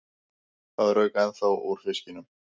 Það rauk ennþá úr fiskunum.